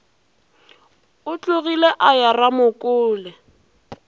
o tlogile a ya ramokole